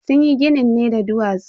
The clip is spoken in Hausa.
Sunyi ginin ne da duwatsu.